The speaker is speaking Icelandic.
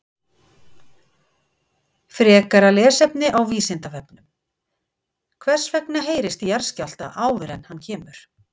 Frekara lesefni á Vísindavefnum: Hvers vegna heyrist í jarðskjálfta áður en hann kemur?